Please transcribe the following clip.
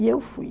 E eu fui.